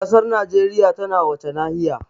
Ƙasar Najeriya tana wace nahiya?